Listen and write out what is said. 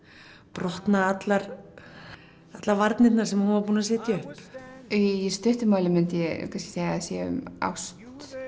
brotna allar varnirnar sem hún var búin að setja upp í stuttu máli myndi ég segja að það sé um ást